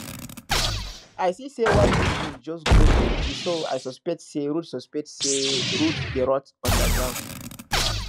i see say wild mushrooms just grow plenty so i suspect say roots suspect say roots dey rot under ground